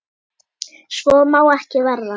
Svo má ekki verða.